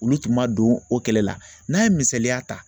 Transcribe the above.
Olu tun ma don o kɛlɛ la n'an ye misaliya ta